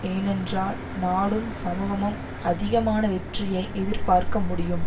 ஏனென்றால் நாடும் சமூகமும் அதிகமான வெற்றியை எதிர்பார்க்க முடியும்